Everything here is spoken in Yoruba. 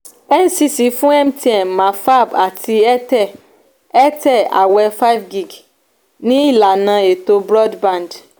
ncc fún mtn mafab àti airtel airtel àwẹ five gig ní ìlànà ètò broadband